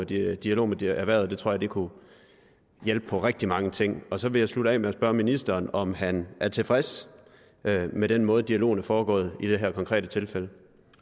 dialog dialog med erhvervet det tror jeg kunne hjælpe på rigtig mange ting så vil jeg slutte af med at spørge ministeren om han er tilfreds med den måde dialogen er foregået i det her konkrete tilfælde